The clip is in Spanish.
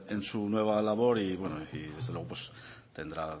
en su nueva labor y bueno desde luego pues tendrá